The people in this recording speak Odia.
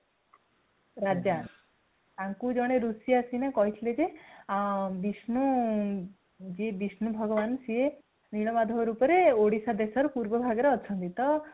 ରାଜା ତାଙ୍କୁ ଜଣେ ରୁଷି ଆସିକିନା କହିଥିଲେ ଯେ ବିଷ୍ନୁ ଯିଏ ବିଷ୍ନୁ ଭଗବାନ ସିଏ ନୀଳମାଧବ ରୂପରେ ଓଡିଶା ଦେଶର ପୂର୍ଵ ଭାଗରେ ଅଛନ୍ତି | ତ